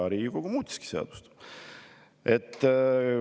Ja Riigikogu muutiski seadust.